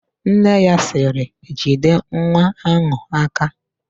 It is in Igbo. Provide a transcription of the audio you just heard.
Nne ya sịrị, "jide nwa áhụ̀ aka"!